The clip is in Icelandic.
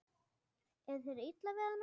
Er þér illa við hana?